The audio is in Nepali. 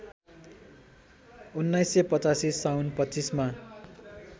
१९८५ साउन २५ मा